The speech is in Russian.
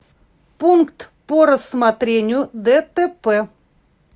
пункт по рассмотрению дтп